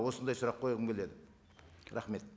осындай сұрақ қойғым келеді рахмет